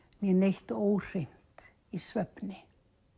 né neitt óhreint í svefni